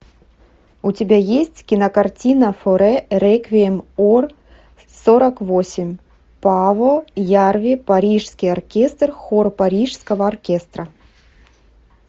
у тебя есть кинокартина форе реквием ор сорок восемь пааво ярви парижский оркестр хор парижского оркестра